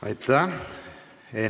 Aitäh!